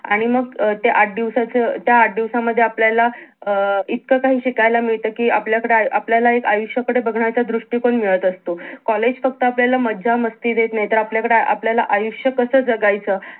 आणि मग अं ते आठ दिवसाचं अं त्या आठ दिवस मध्ये आपल्याला अं इतकं काही शिकायला मिळत कि आपल्याकडे आपल्याला एक आयुष्याकडे बघण्याचा दृष्टिकोन मिळत असतो कॉलेज मध्ये आपल्याला मज्जा मस्ती देत नाही तर आपल्याकडे आपल्याला आयुष्य कस जगायचं